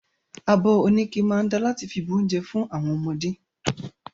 Abi oníke máa da láti fi bu ounjẹ àwọn ọmọdé.